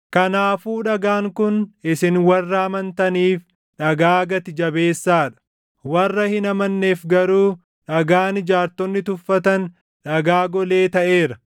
Kanaafuu dhagaan kun isin warra amantaniif dhagaa gati jabeessaa dha. Warra hin amanneef garuu, “Dhagaan ijaartonni tuffatan, dhagaa golee taʼeera.” + 2:7 \+xt Far 118:22\+xt*